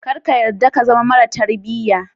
Kar ka yadda ka zama mara tarbiya.